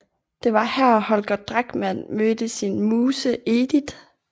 Det var her Holger Drachmann mødte sin muse Edith